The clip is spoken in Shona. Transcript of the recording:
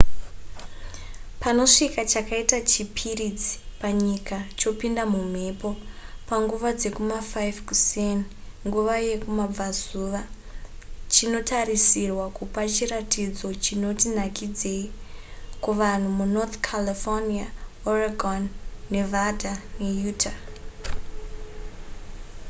panosvika chakaita chipiritsi panyika chopinda mumhepo panguva dzekuma5 kuseni nguva yekumabvazuva chinotarisirwa kupa chiratidzo chinoti nakidzeyi kuvanhu munorth california oregon nevada neutah